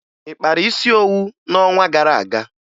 Ị kpara isi owu n'ọnwa gara aga?